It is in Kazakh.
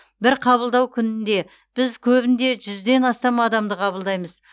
бір қабылдау күнінде біз көбінде жүзден астам адамды қабылдаймыз